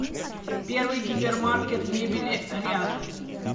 первый гипермаркет мебели рядом